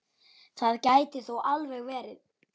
Það gæti þó alveg verið.